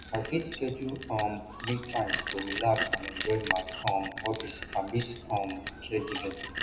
i fit schedule um me time to relax and enjoy my um hobbies amidst um caregiving